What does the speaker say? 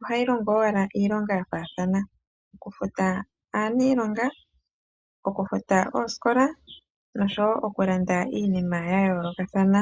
ohayi longo ashike iilonga yafaathana ngaashi okufuta aanilonga, okufuta oosikola nosho woo okulanda iinima yayolokathana.